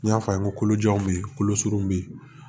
N y'a fɔ a ye kolojan bɛ yen kolo surun bɛ yen